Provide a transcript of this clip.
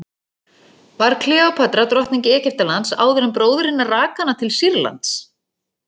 Var Kleópatra drottning Egyptalands áður en bróðir hennar rak hana til Sýrlands?